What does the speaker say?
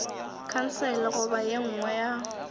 khansele goba ye nngwe ya